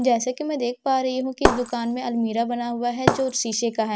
जैसे कि मैं देख पा रही हूं कि इस दुकान में अलमीरा बना हुआ है जो शीशे का है।